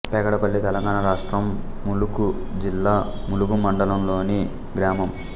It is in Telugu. పెగడపల్లి తెలంగాణ రాష్ట్రం ములుగు జిల్లా ములుగు మండలంలోని గ్రామం